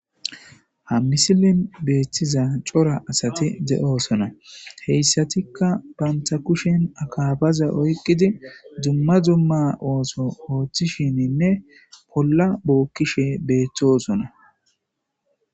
Ha misilin beethtiza cora asati de7oosona heyssatikka banta kushen akabaza oyqidi zumma zumma ooso ooththishininne olla bookkishe beeththosona.